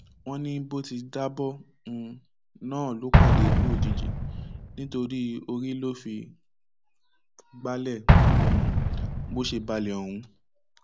wọn ní bó ti já bọ um náà ló pàdé ikú òjijì nítorí orí ló fi gbalẹ um bó ṣe balẹ ọhún